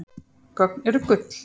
Gögn eru gull